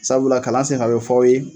Sabula kalan senfɛ a bɛ fɔ aw ye.